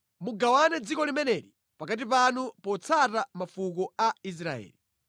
“Mugawane dziko limeneli pakati panu potsata mafuko a Israeli.